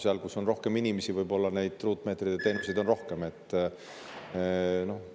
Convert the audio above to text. Seal, kus on rohkem inimesi, on neid ruutmeetreid ja teenuseid võib-olla rohkem.